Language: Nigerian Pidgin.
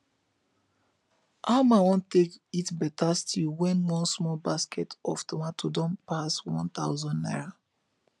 e um no easy to eat um balance diet um when money no reach